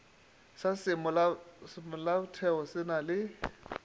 sa semolaotheo se na le